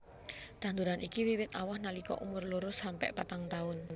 Tanduran iki wiwit awoh nalika umur loro sampe patang taun